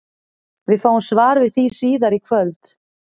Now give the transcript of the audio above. Við fáum svar við því síðar í kvöld!